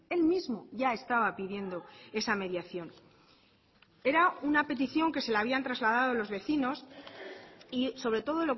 él mismo ya estaba pidiendo esa mediación era una petición que se le habían trasladado los vecinos y sobre todo